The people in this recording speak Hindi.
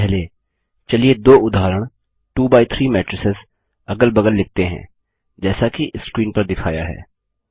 सबसे पहले चलिए दो उदाहरण 2 बाय 3 मैट्रिसेस अगल बगल लिखते हैं जैसा कि स्क्रीन पर दिखाया है